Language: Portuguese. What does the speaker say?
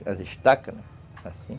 As estacas, assim.